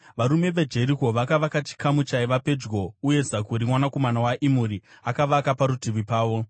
Varume veJeriko vakavaka chikamu chaiva pedyo, uye Zakuri mwanakomana waImuri akavaka parutivi pavo.